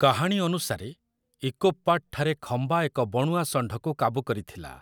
କାହାଣୀ ଅନୁସାରେ, ଇକୋପ୍ ପାଟ୍‌ଠାରେ ଖମ୍ବା ଏକ ବଣୁଆ ଷଣ୍ଢକୁ କାବୁ କରିଥିଲା ।